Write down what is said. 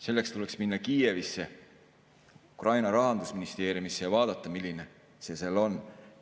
Selleks tuleks minna Kiievisse, Ukraina rahandusministeeriumisse ja vaadata, milline see seal on.